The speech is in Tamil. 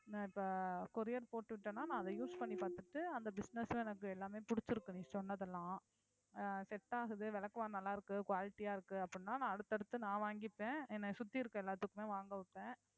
நான் இப்ப courier போட்டு விட்டேன்னா நான் அதை use பண்ணி பாத்துட்டு அந்த business ம் எனக்கு எல்லாமே புடிச்சிருக்கு நீ சொன்னதெல்லாம் set ஆகுது விளக்கமாறு நல்லா இருக்கு quality ஆ இருக்கு அப்படின்னா நான் அடுத்தடுத்து நான் வாங்கிப்பேன் என்னை சுத்தி இருக்கிற எல்லாத்துக்குமே வாங்க வைப்பேன்